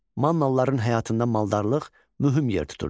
Mannalıların həyatında maldarlıq mühüm yer tuturdu.